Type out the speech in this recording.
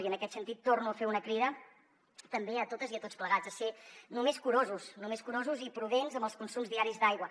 i en aquest sentit torno a fer una crida també a totes i a tots plegats a ser només curosos i prudents amb els consums diaris d’aigua